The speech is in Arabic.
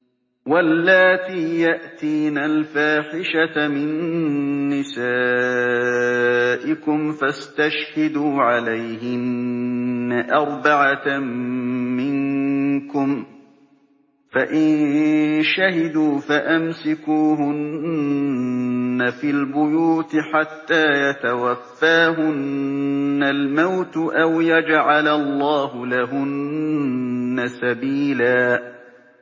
وَاللَّاتِي يَأْتِينَ الْفَاحِشَةَ مِن نِّسَائِكُمْ فَاسْتَشْهِدُوا عَلَيْهِنَّ أَرْبَعَةً مِّنكُمْ ۖ فَإِن شَهِدُوا فَأَمْسِكُوهُنَّ فِي الْبُيُوتِ حَتَّىٰ يَتَوَفَّاهُنَّ الْمَوْتُ أَوْ يَجْعَلَ اللَّهُ لَهُنَّ سَبِيلًا